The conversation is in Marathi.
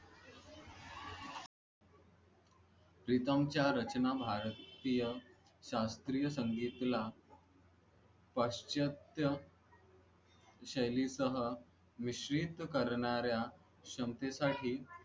प्रीतम च्या रचना भारतीय संगीतला पाश्चयातया शैली सह विसचलीत करणाऱ्या क्षमतेसाठी